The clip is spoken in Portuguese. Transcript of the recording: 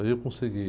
Aí eu consegui.